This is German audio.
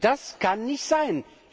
Das kann nicht sein.